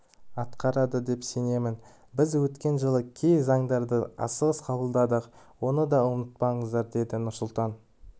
атқарады деп сенемін біз өткен жылы кей заңдарды асығыс қабылдадық оны да ұмытпаңыздар деді нұрсұлтан